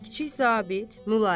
Kiçik zabit mülayim.